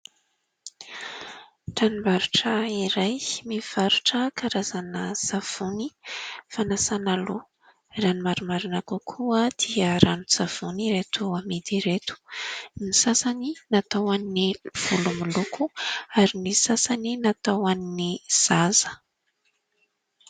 Tranombarotra iray mivarotra karazana savony fanasana loha, raha ny marimarina kokoa dia ranon-tsavony ireto amidy ireto, ny sasany natao ho an'ny volo miloko ary ny sasany natao ho an'ny zaza.